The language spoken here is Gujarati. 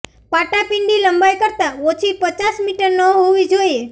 પાટાપિંડી લંબાઈ કરતાં ઓછી પચાસ મીટર ન હોવી જોઈએ